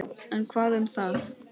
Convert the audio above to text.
En hvað um það